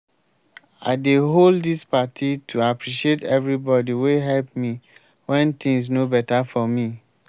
i dey hold dis party to appreciate everybody wey help me wen things no beta for me